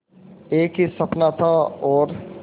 एक ही सपना था और